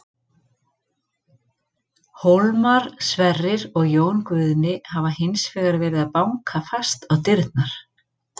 Hólmar, Sverrir og Jón Guðni hafa hins vegar verið að banka fast á dyrnar.